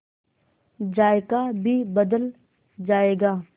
जायका भी बदल जाएगा